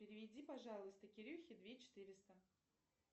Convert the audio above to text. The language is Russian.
переведи пожалуйста кирюхе две четыреста